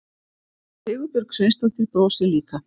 Sigurbjörg Sveinsdóttir brosir líka.